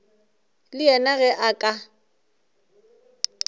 le yena ge a ka